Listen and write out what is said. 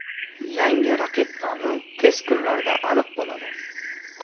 Yangi raqib nomi tez kunlarda aniq bo‘ladi.